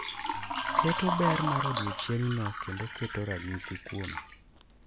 Keto ber mar odiechieng’no kendo keto ranyisi kuome